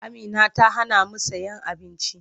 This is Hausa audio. Amina ta hanamu sayen abinci.